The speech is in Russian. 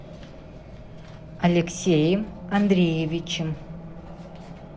алексеем андреевичем